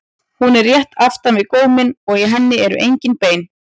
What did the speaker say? Hún er rétt aftan við góminn og í henni eru engin bein.